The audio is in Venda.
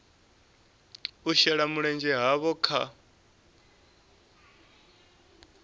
u shela mulenzhe havho kha